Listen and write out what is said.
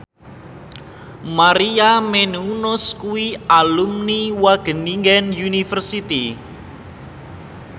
Maria Menounos kuwi alumni Wageningen University